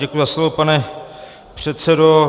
Děkuji za slovo, pane předsedo.